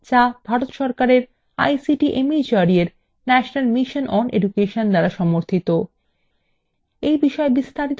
যা ভারত সরকারের ict mhrd এর national mission on education দ্বারা সমর্থিত